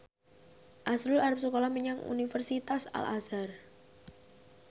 azrul arep sekolah menyang Universitas Al Azhar